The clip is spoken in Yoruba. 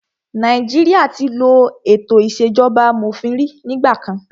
Nàìjíríà tí ló ètò ìṣèjọba amòfin rí nígbà kan.